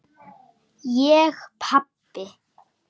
Ég pabbi!